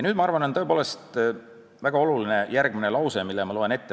Ma arvan, et väga oluline on järgmine lause, mille ma ette loen.